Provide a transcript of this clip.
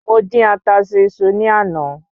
Mo dín ata sí iṣu ní àná